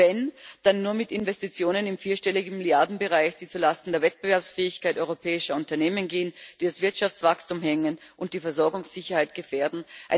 Und wenn, dann nur mit Investitionen im vierstelligen Milliardenbereich, die zu Lasten der Wettbewerbsfähigkeit europäischer Unternehmen gehen, die das Wirtschaftswachstum hemmen und die Versorgungssicherheit gefährden.